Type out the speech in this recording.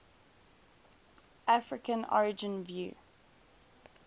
african origin view